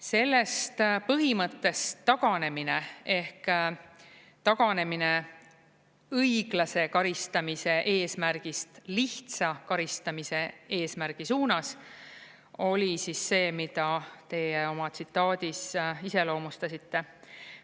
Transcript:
Sellest põhimõttest taganemine ehk taganemine õiglase karistamise eesmärgist lihtsa karistamise eesmärgi suunas oli see, mida teie oma tsitaadis iseloomustasite.